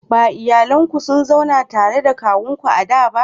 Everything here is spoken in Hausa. Ba iyalin ku kun zauna tare da na kawunku a da ba